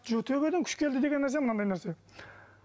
төбеден күш келді деген нәрсе мынандай нәрсе